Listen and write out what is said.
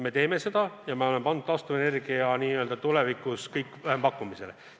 Me teeme seda ja taastuvenergia puhul hakkab tulevikus kõik rajanema vähempakkumisele.